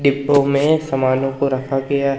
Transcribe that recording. डिंब्बो में सामानों को रखा गया--